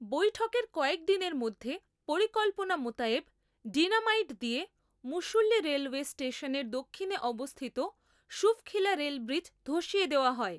বৈঠকের কয়েকদিনের মধ্যে পরিকল্পনা মোতায়েব ডিনামাইট দিয়ে মুশুল্লী রেলওয়ে স্টেশনের দক্ষিণে অবস্থিত শুভখিলা রেলব্রিজ ধ্বসিয়ে দেওয়া হয়।